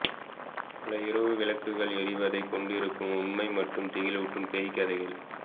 பல இரவு விளக்குகள் எரிவதைக் கொண்டிருக்கும் உண்மை மற்றும் திகிலூட்டும் பேய் கதைகள்